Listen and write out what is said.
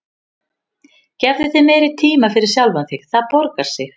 Gefðu þér meiri tíma fyrir sjálfan þig, það borgar sig.